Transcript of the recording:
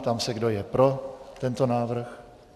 Ptám se, kdo je pro tento návrh.